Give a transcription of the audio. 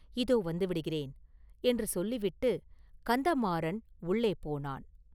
இதோ வந்து விடுகிறேன்” என்று சொல்லிவிட்டு கந்தமாறன் உள்ளே போனான்.